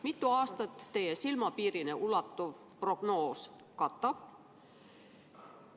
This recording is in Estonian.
Mitut aastat teie silmapiirini ulatuv prognoos katab?